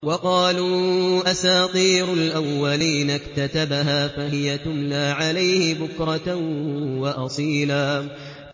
وَقَالُوا أَسَاطِيرُ الْأَوَّلِينَ اكْتَتَبَهَا فَهِيَ تُمْلَىٰ عَلَيْهِ بُكْرَةً وَأَصِيلًا